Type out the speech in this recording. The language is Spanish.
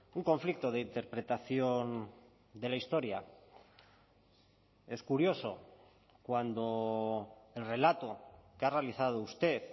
un conflicto de interpretación de la historia es curioso cuando el relato que ha realizado usted